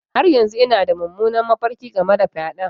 Har yanzu ina da mummunan mafarki game da fyaɗen.